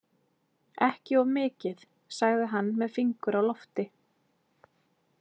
Ekki of mikið, sagði hann með fingur á lofti.